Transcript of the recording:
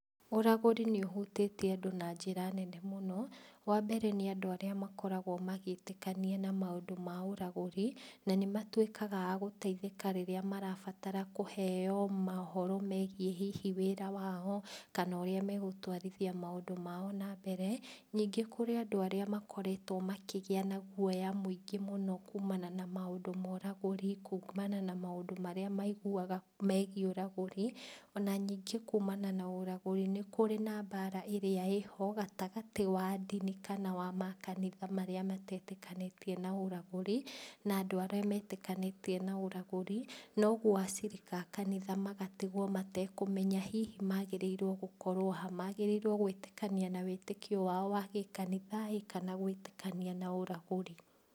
Ũragũri nĩ ũhutĩtie andũ na njĩra nene mũno, wambere nĩandũ arĩa makoragwo magĩtĩkania na maũndũ ma ũragũri, na nĩmatuĩkaga agũteithĩka rĩrĩa marabatara kũheo mohoro megiĩ hihi wĩra wao, kana ũrĩa megũtwarithia maũndũ mao nambere, ningĩ kũrĩ andũ arĩa makoretwo makĩgĩa na guoya mũingĩ mũno kumana na maũndũ ma ũragũri kumana na maũndũ marĩa maiguaga megiĩ ũragũri, ona ningĩ kumana na ũragũri nĩkũrĩ na mbara ĩrĩa ĩho gatagatĩ wa ndini kana wa makanitha marĩa matetĩkanĩtie na ũragũri, na andũ arĩa metĩkanĩtie na ũragũri, noguo acirika a kanitha magatigwo matekũmenya hihi magĩrĩirwo gũkorwo ha, magĩrĩirwo gũĩtĩkania na wĩtĩkio wao wa gĩkanitha ĩ, kana gũĩtĩkania na ũragũri.